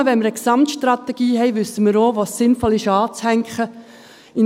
Nur wenn wir eine Gesamtstrategie haben, wissen wir auch, was sinnvoll anzuhängen ist.